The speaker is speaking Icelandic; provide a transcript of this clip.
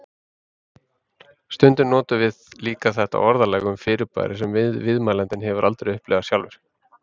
Stundum notum við líka þetta orðalag um fyrirbæri sem viðmælandinn hefur aldrei upplifað sjálfur.